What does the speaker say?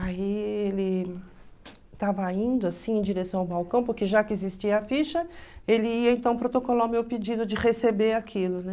Aí ele estava indo assim em direção ao balcão, porque já que existia a ficha, ele ia então protocolar o meu pedido de receber aquilo, né?